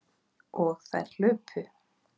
Og þær hlupu.